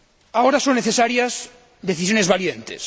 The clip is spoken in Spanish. Ahora son necesarias unas decisiones valientes